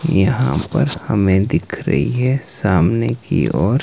यहां पर हमें दिख रही है सामने की ओर--